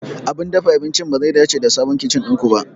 Abin dafa abincin bazai dace da sabon kicin ɗin ku ba.